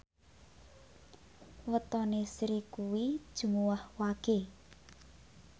wetone Sri kuwi Jumuwah Wage